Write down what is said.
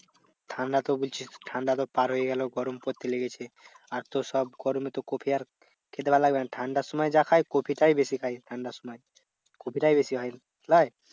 ঠান্ডা তো বলছিস ঠান্ডা তো পার হয়ে গেলো গরম পড়তে লেগেছে। আর তো সব গরমে তো কপি আর খেতে ভালো লাগবে না। ঠান্ডার সময় যা খায় কপিটাই বেশি খায় ঠান্ডার সময়। কপিটাই বেশি হয় লয়?